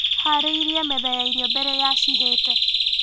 Harĩirie metha ya irio mbere ya cihĩte.